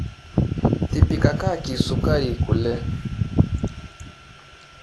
Tipikakaki sukari kule.